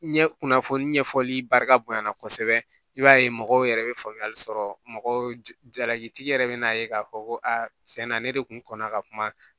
Ɲɛ kunnafoni ɲɛfɔli barika bonyana kosɛbɛ i b'a ye mɔgɔw yɛrɛ bɛ faamuyali sɔrɔ mɔgɔw jalaki yɛrɛ bɛ na ye k'a fɔ ko a fɛn na ne de kun kɔnna ka kuma